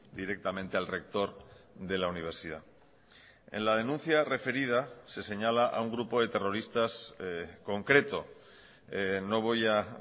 directamente al rector de la universidad en la denuncia referida se señala a un grupo de terroristas concreto no voy a